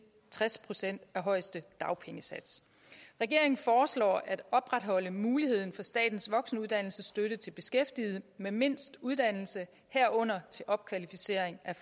tres procent af højeste dagpengesats regeringen foreslår at opretholde muligheden for statens voksenuddannelsesstøtte til beskæftigede med mindst uddannelse herunder til opkvalificering af